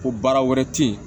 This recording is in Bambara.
Ko baara wɛrɛ tɛ yen